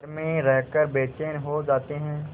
घर में रहकर बेचैन हो जाते हैं